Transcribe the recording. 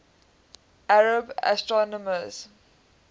arab astronomers